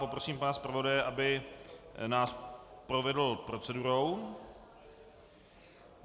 Poprosím pana zpravodaje, aby nás provedl procedurou.